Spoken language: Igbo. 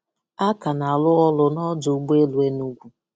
A ka na-arụ ọrụ n'ọjụ ụgbọ elu Enugwu